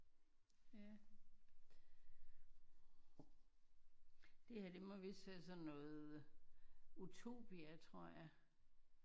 Ja det her det må vise sådan noget utopia tror jeg